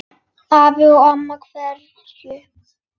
Afi og amma kveðja